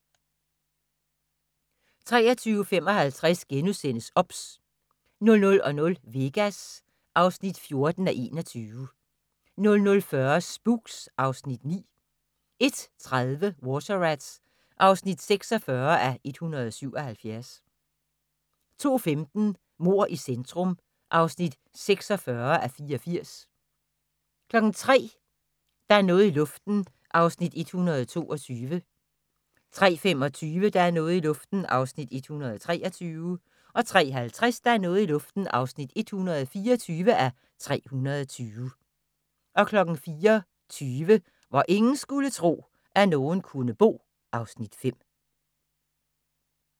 23:55: OBS * 00:00: Vegas (14:21) 00:40: Spooks (Afs. 9) 01:30: Water Rats (46:177) 02:15: Mord i centrum (46:84) 03:00: Der er noget i luften (122:320) 03:25: Der er noget i luften (123:320) 03:50: Der er noget i luften (124:320) 04:20: Hvor ingen skulle tro, at nogen kunne bo (Afs. 5)